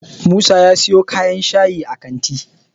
musa ya siyo kan shayi a kanti